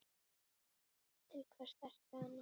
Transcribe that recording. Til hvers þarftu hann?